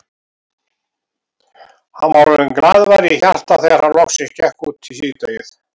Hann var orðinn glaðvær í hjarta þegar hann loksins gekk út í síðdegið.